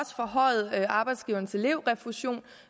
forhøjet arbejdsgivernes elevrefusion